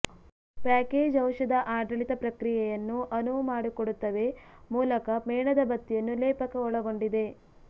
package ಔಷಧ ಆಡಳಿತ ಪ್ರಕ್ರಿಯೆಯನ್ನು ಅನುವುಮಾಡಿಕೊಡುತ್ತವೆ ಮೂಲಕ ಮೇಣದಬತ್ತಿಯನ್ನು ಲೇಪಕ ಒಳಗೊಂಡಿದೆ